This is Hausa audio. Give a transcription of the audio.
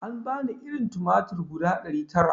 An bani irin tumatir guda ɗari tara